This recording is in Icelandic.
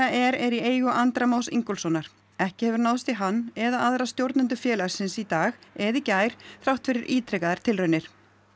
er í eigu Andra Más Ingólfssonar ekki hefur náðst í hann eða aðra stjórnendur félagsins í dag eða í gær þrátt fyrir ítrekaðar tilraunir